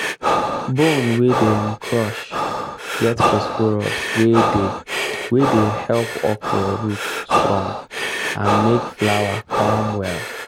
bone wey dem crush get phosphorus wey dey wey dey help okra root strong and make flower come well